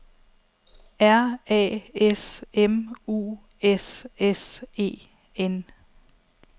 R A S M U S S E N